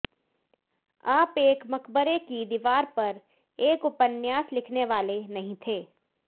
आप एक मकबरे की दीवार पर एक उपन्यास लिखने वाले नहीं थे